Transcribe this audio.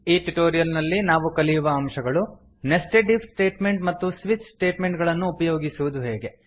ಈ ಟ್ಯುಟೋರಿಯಲ್ ನಲ್ಲಿ ನಾವು ಕಲಿಯುವ ಅಂಶಗಳು ನೆಸ್ಟೆಡ್ ಇಫ್ ಸ್ಟೇಟ್ಮೆಂಟ್ ಮತ್ತು ಸ್ವಿಚ್ ಸ್ಟೇಟ್ಮೆಂಟ್ ಗಳನ್ನು ಉಪಯೋಗಿಸುವುದು ಹೇಗೆ